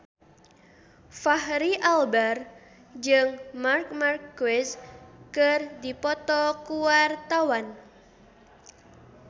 Fachri Albar jeung Marc Marquez keur dipoto ku wartawan